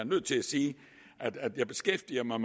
nødt til at sige at jeg beskæftiger mig